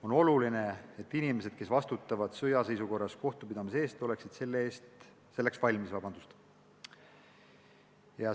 On oluline, et inimesed, kes sõjaseisukorra ajal kohtupidamise eest vastutavad, oleksid selleks valmis.